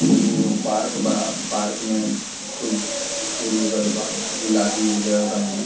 ये एगो पार्क बा पार्क मे खूब फूल उगल बा गुलाबी उज्जर रंग में।